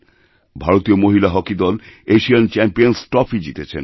ভারতীয় মহিলা হকি দল এশিয়ান চ্যাম্পিয়নস্ ট্রফি জিতেছেন